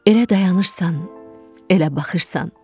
Elə dayanırsan, elə baxırsan.